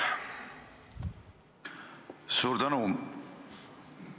Suur tänu!